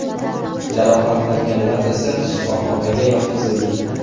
Jarohatlanganlar esa shifoxonaga yotqizildi.